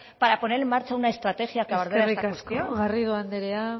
para poner en marcha una estrategia que abordara esta cuestión eskerrik asko garrido anderea